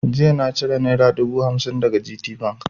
Jiya na ciro naira dubu hamsin daga GTBank.